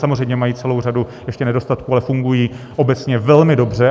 Samozřejmě mají celou řadu ještě nedostatků, ale fungují obecně velmi dobře.